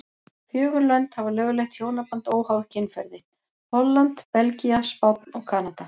Fjögur lönd hafa lögleitt hjónaband óháð kynferði, Holland, Belgía, Spánn og Kanada.